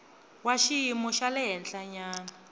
wa xiyimo xa le henhlanyana